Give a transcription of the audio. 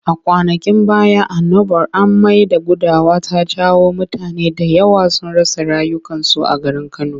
A kwanakin baya annobar amai da gudawa ta jawo mutane da yawa sun rasa rayukansu a garin Kano.